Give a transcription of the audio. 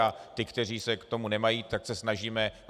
A ty, kteří se k tomu nemají, tak se snažíme...